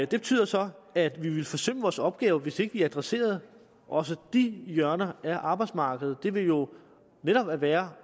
det betyder så at vi ville forsømme vores opgave hvis ikke vi adresserede også de hjørner af arbejdsmarkedet det ville jo netop være